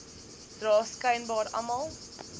dra skynbaar almal